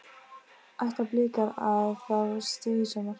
Ætla blikar að fá stig í sumar?